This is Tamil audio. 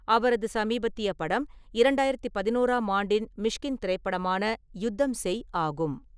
அவரது சமீபத்திய படம் இரண்டாயிரத்து பதினோராம் ஆண்டின் மிஷ்கின் திரைப்படமான யுத்தம் செய் ஆகும்.